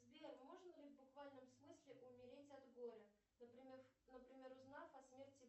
сбер можно ли в буквальном смысле умереть от горя например узнав о смерти